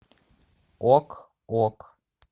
ок ок